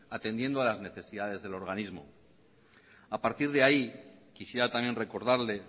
atendiendo a las necesidades del organismo a partir de ahí quisiera también recordarle